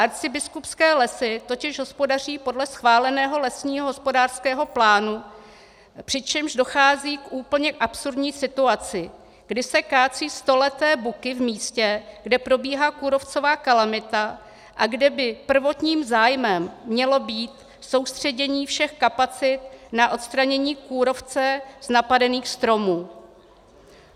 Arcibiskupské lesy totiž hospodaří podle schváleného lesního hospodářského plánu, přičemž dochází k úplně absurdní situaci, kdy se kácejí stoleté buky v místě, kde probíhá kůrovcová kalamita a kde by prvotním zájmem mělo být soustředění všech kapacit na odstranění kůrovce z napadených stromů.